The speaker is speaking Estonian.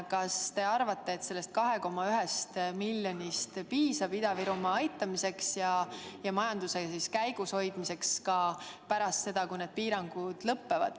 Kas te arvate, et sellest 2,1 miljonist piisab Ida-Virumaa aitamiseks ja sealse majanduse käigus hoidmiseks ka pärast seda, kui need piirangud lõpevad?